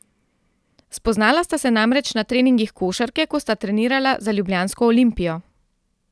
Spoznala sta se namreč na treningih košarke, ko sta trenirala za ljubljansko Olimpijo.